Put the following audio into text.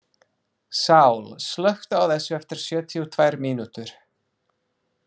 Sál, slökktu á þessu eftir sjötíu og tvær mínútur.